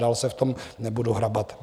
Dál se v tom nebudu hrabat.